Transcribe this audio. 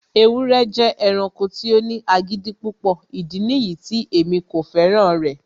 ewúrẹ jẹ ẹranko ti o ni agidi pupọ, idi niyi ti emi ko fẹran rẹ